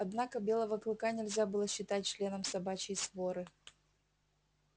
однако белого клыка нельзя было считать членом собачьей своры